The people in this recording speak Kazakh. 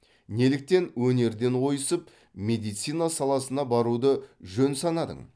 неліктен өнерден ойысып медицина саласына баруды жөн санадың